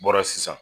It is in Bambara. Bɔra sisan